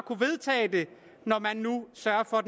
kunne vedtage det når man nu sørger for at